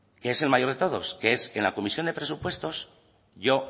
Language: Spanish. que es el mayor de todos que es en que en la comisión de presupuestos yo